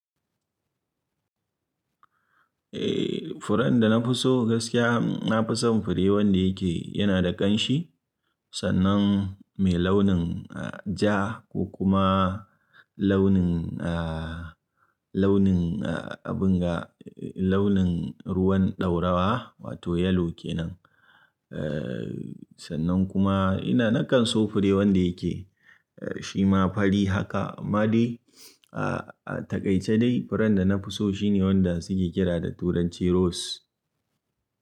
Eh furen da na fi so gaskiya, na fi son fure wanda yake yana da ƙanshi sannan mai launin ja ko kuma launin, launin abin ga, launin ruwan ɗaurawa wato yellow kenan. Eh sannan kuma ina nakan so fure wanda yake shi ma fari haka ma dai. A takai ce dai furen da na fi so shi ne wanda suke kira da turanci rose.